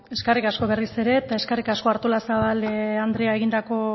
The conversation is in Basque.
ezkerrik asko berriz ere eta ezkerrik asko artolazabal andrea egindako